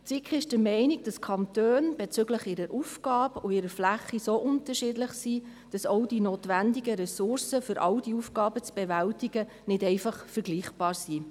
Die SiK ist der Meinung, die Kantone seien bezüglich ihrer Aufgaben und ihrer Fläche so unterschiedlich, dass auch die notwendigen Ressourcen, um all diese Aufgaben zu bewältigen, nicht einfach vergleichbar seien.